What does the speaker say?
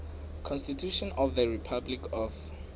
constitution of the republic of